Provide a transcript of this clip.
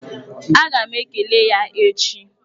Aga m ekele ya echi.